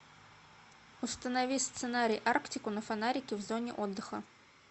установи сценарий арктику на фонарике в зоне отдыха